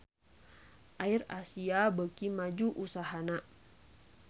AirAsia beuki maju usahana